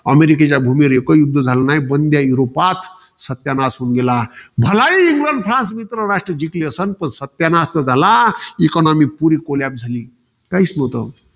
अमेरिकेच्या भूमीवर एकही युध्द झाले नाही. पण त्या युरोपात सत्यानाश होऊन गेला. भालाही इंग्लंड, फ्रांस मित्रराष्ट्र जिकल असलं. पण सत्यानाश तर झाला. पुरी economy collapse झाली. काहीच नव्हत.